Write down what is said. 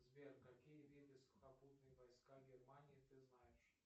сбер какие виды сухопутные войска германии ты знаешь